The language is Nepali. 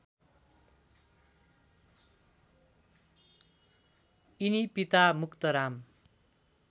यिनी पिता मुक्तराम